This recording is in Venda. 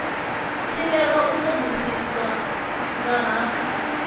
thivhelwa u todisisa nga ha